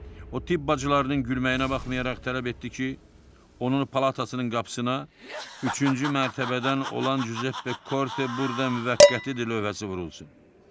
O tibb bacılarının gülməyinə baxmayaraq, tələb etdi ki, onun palatasının qapısına üçüncü mərtəbədən olan Cüzeppe Korte burada müvəqqətidir lövhəsi vurulsun.